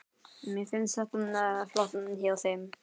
Mér finnst þetta flott hjá þeim.